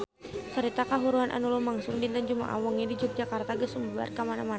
Carita kahuruan anu lumangsung dinten Jumaah wengi di Yogyakarta geus sumebar kamana-mana